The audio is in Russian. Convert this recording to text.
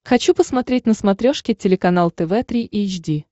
хочу посмотреть на смотрешке телеканал тв три эйч ди